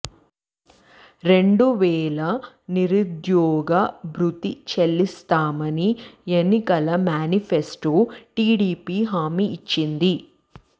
రెండు వేల నిరుద్యోగ భృతి చెల్లిస్తామని ఎన్నికల మేనిఫెస్టోలో టిడిపి హామీ ఇచ్చింది